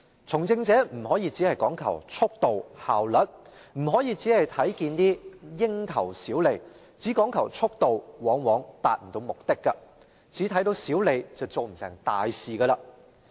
"從政者不能只講求速度、效率；只看蠅頭小利，只講求速度，往往達不到目的；只看到小利便不能成大事。